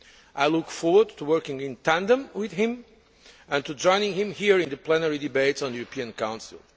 I look forward to working in tandem with him and to joining him here in the plenary debates on the European Council.